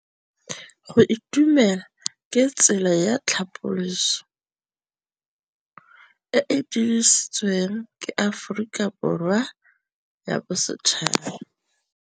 Go itumela ke tsela ya tlhapolisô e e dirisitsweng ke Aforika Borwa ya Bosetšhaba.